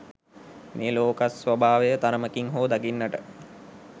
මේ ලෝකස්වභාවය තරමකින් හෝ දකින්නට